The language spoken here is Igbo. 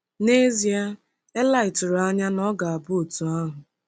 N'ezie eli tụrụ anya na ọ ga-abụ otu ahụ!